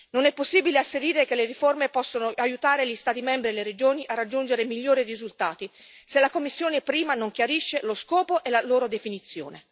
Non è possibile asserire che le riforme possono aiutare gli Stati membri e le regioni a raggiungere migliori risultati, se la Commissione prima non ne chiarisce lo scopo e la definizione.